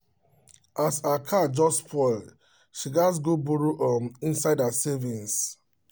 um as her car just spoil she gats go borrow um inside her savings um